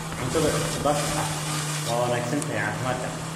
Cuntada isku-dhafka ah waa wanaagsan tahay caafimaadka.